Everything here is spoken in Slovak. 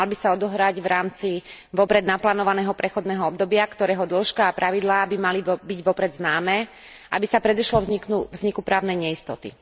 Mal by sa odohrať v rámci vopred naplánovaného prechodného obdobia, ktorého dĺžka a pravidlá by mali byť vopred známe, aby sa predišlo vzniku právnej neistoty.